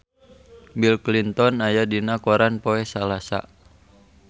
Bill Clinton aya dina koran poe Salasa